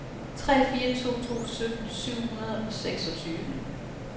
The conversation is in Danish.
tre fire to to sytten syv hundrede og seksogtyve